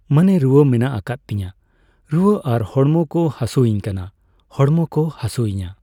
ᱢᱟᱱᱮ ᱨᱩᱣᱟᱹ ᱢᱮᱱᱟᱜ ᱠᱟᱫ ᱛᱤᱧᱟᱹ ᱾ ᱨᱩᱣᱟᱹ ᱟᱨ ᱦᱚᱲᱢᱚ ᱠᱚ ᱦᱟᱹᱥᱳᱧ ᱠᱟᱱᱟ, ᱦᱚᱲᱢᱚ ᱠᱚ ᱦᱟᱹᱥᱳᱭᱤᱧᱼᱟ ᱾